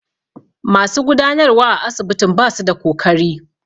Masu gudanarwa a asibitin basu da kokari.